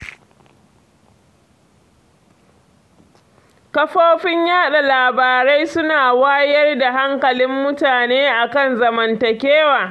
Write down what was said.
Kafofin yaɗa labarai su na wayar da hankalin mutane a kan zamantakewa.